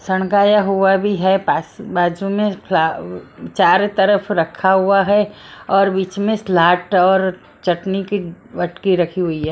सणकाया हुआ भी है पास बाजू में फ चार तरफ रखा हुआ है और बीच में स्लाट और चटनी की वटकी रखी हुई हे।